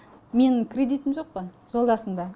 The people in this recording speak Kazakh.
менің кредитім жоқ қой жолдасымда